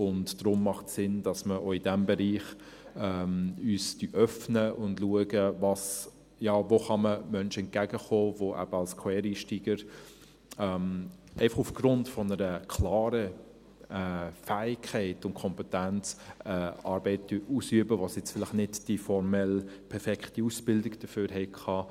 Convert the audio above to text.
Deshalb macht es Sinn, dass wir uns auch in diesem Bereich öffnen und schauen, wo man Menschen entgegenkommen kann, die eben als Quereinsteiger, einfach aufgrund einer klaren Fähigkeit und Kompetenz, eine Arbeit ausüben, für die sie jetzt vielleicht nicht die formell perfekte Ausbildung dafür hatten.